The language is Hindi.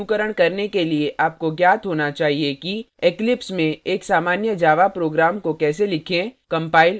इस tutorial का अनुकरण करने के लिए आपको ज्ञात होना चाहिए कि eclipse में एक सामान्य java program को कैसे लिखें कंपाइल और रन करें